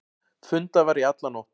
Fundað var í alla nótt.